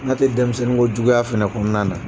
N'a tɛ denmisɛnninkojuguya fɛnɛ kɔnɔna na.